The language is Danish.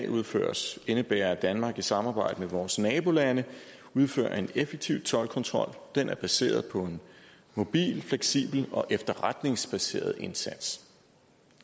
udføres indebærer at danmark i samarbejde med vores nabolande udfører en effektiv toldkontrol den er baseret på en mobil fleksibel og efterretningsbaseret indsats